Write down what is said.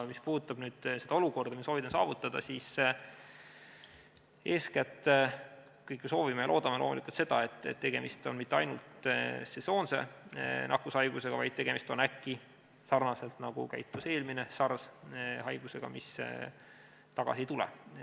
Mis puudutab seda olukorda, mida me soovime saavutada, siis eeskätt kõik me soovime ja loodame loomulikult seda, et tegemist ei ole mitte ainult sesoonse nakkushaigusega, vaid tegemist on äkki, sarnaselt sellega, nagu käitus eelmine SARS, haigusega, mis tagasi ei tule.